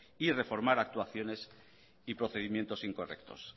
y reformar actuaciones y procedimientos incorrectos